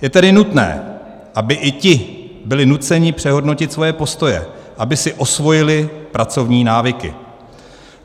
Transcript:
Je tedy nutné, aby i ti byli nuceni přehodnotit svoje postoje, aby si osvojili pracovní návyky.